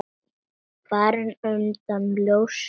Fram undan ljósir tímar.